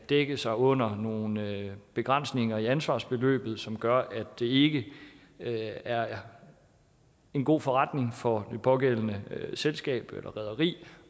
dække sig under nogle begrænsninger i ansvarsbeløbet som gør at det ikke er en god forretning for det pågældende selskab eller rederi